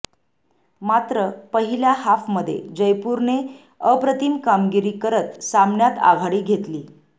मात्र पहिल्या हाफमध्ये जयपूरने अप्रतिम कामगिरी करत सामन्यात आघाडी घेतली